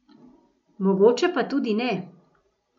Mogoče pa tudi ne.